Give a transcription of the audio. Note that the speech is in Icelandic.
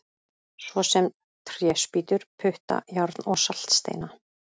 Svo sem tréspýtur, putta, járn og saltsteina!